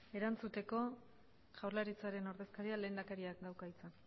erantzuteko jaurlaritzaren ordezkariak lehendakariak dauka hitza